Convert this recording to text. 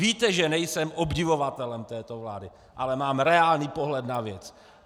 Víte, že nejsem obdivovatelem této vlády, ale mám reálný pohled na věc.